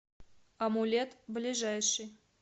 амулет ближайший